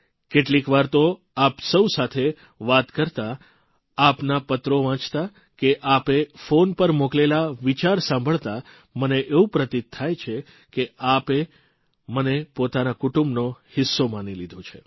કેટલીકવાર તો આપ સૌ સાથે વાત કરતાં આપના પત્રો વાંચતા કે આપે ફોન પર મોકલેલા વિચાર સાંભળતા મને એવું પ્રતીત થાય છે કે આપે મને પોતાના કુટુંબનો હિસ્સો માની લીધો છે